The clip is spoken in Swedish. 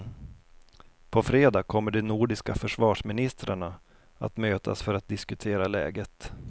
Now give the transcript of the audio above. På fredag kommer de nordiska försvarsministrarna att mötas för att diskutera läget.